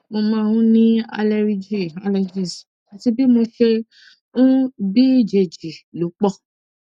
mo máa ń ní àleríjì allergies àti bí mo ṣe ń bíjèjì ló pọ